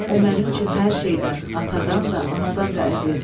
O mənim üçün hər şeydən, atadan da, anadan da əzizdir.